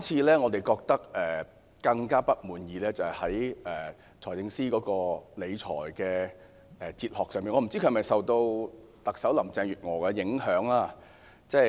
令我們更不滿意的是，財政司司長的理財哲學不知道是否受到特首林鄭月娥的影響。